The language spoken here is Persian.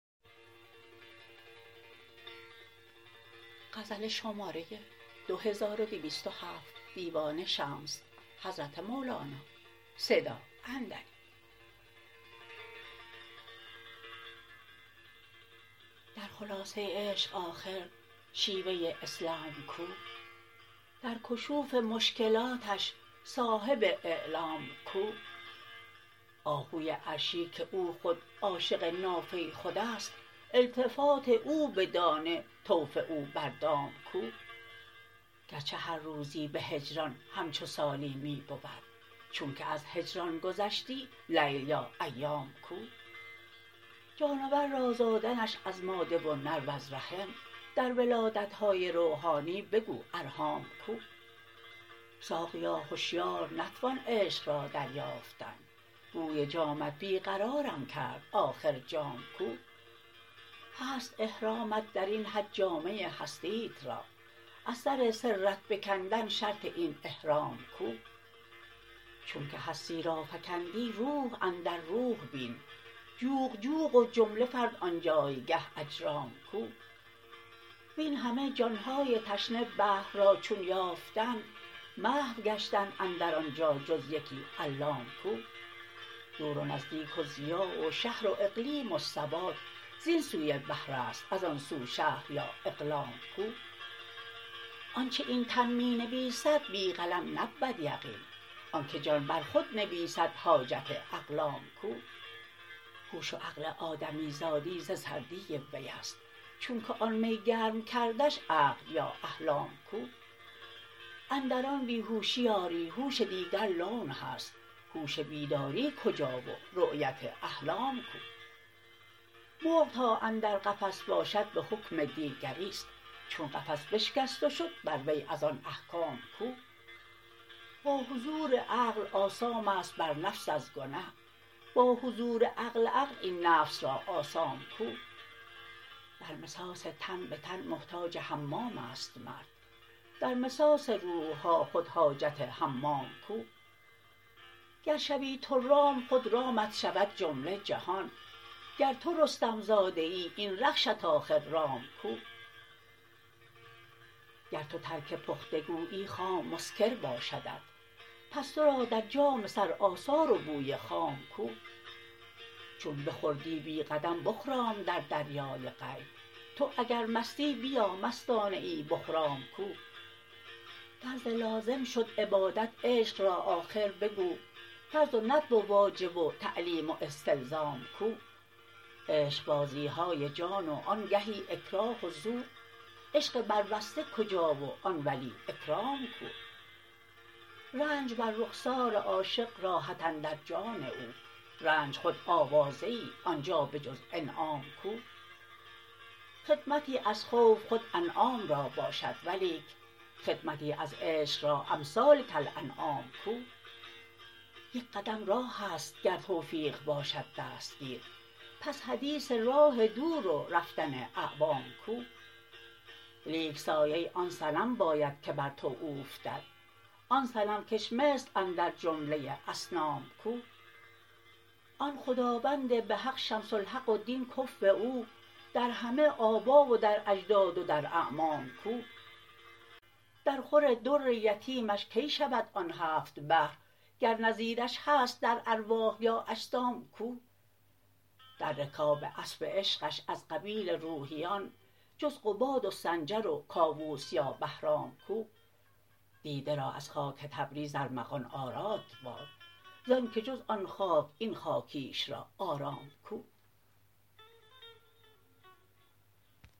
در خلاصه عشق آخر شیوه اسلام کو در کشوف مشکلاتش صاحب اعلام کو آهوی عرشی که او خود عاشق نافه خود است التفات او به دانه طوف او بر دام کو گرچه هر روزی به هجران همچو سالی می بود چونک از هجران گذشتی لیل یا ایام کو جانور را زادنش از ماده و نر وز رحم در ولادت های روحانی بگو ارحام کو ساقیا هشیار نتوان عشق را دریافتن بوی جامت بی قرارم کرد آخر جام کو هست احرامت در این حج جامه هستیت را از سر سرت بکندن شرط این احرام کو چونک هستی را فکندی روح اندر روح بین جوق جوق و جمله فرد آن جایگه اجرام کو وین همه جان های تشنه بحر را چون یافتند محو گشتند اندر آن جا جز یکی علام کو دور و نزدیک و ضیاع و شهر و اقلیم و سواد زین سوی بحر است از آن سو شهر یا اقلام کو آنچ این تن می نویسد بی قلم نبود یقین آنک جان بر خود نویسد حاجت اقلام کو هوش و عقل آدمیزادی ز سردی وی است چونک آن می گرم کردش عقل یا احلام کو اندر آن بی هوشی آری هوش دیگر لون هست هوش بیداری کجا و رأیت احلام کو مرغ تا اندر قفس باشد به حکم دیگری است چون قفس بشکست و شد بر وی از آن احکام کو با حضور عقل آثام است بر نفس از گنه با حضور عقل عقل این نفس را آثام کو در مساس تن به تن محتاج حمام است مرد در مساس روح ها خود حاجت حمام کو گر شوی تو رام خود رامت شود جمله جهان گر تو رستم زاده ای این رخشت آخر رام کو گر تو ترک پخته گویی خام مسکر باشدت پس تو را در جام سر آثار و بوی خام کو چون بخوردی بی قدم بخرام در دریای غیب تو اگر مستی بیا مستانه ای بخرام کو فرض لازم شد عبادت عشق را آخر بگو فرض و ندب و واجب و تعلیم و استلزام کو عشقبازی های جان و آنگهی اکراه و زور عشق بربسته کجا و ای ولی اکرام کو رنج بر رخسار عاشق راحت اندر جان او رنج خود آوازه ای آن جا به جز انعام کو خدمتی از خوف خود انعام را باشد ولیک خدمتی از عشق را امثال کالانعام کو یک قدم راه است گر توفیق باشد دستگیر پس حدیث راه دور و رفتن اعوام کو لیک سایه آن صنم باید که بر تو اوفتد آن صنم کش مثل اندر جمله اصنام کو آن خداوند به حق شمس الحق و دین کفو او در همه آبا و در اجداد و در اعمام کو درخور در یتیمش کی شود آن هفت بحر گر نظیرش هست در ارواح یا اجسام کو در رکاب اسپ عشقش از قبیل روحیان جز قباد و سنجر و کاووس یا بهرام کو دیده را از خاک تبریز ارمغان آراد باد ز آنک جز آن خاک این خاکیش را آرام کو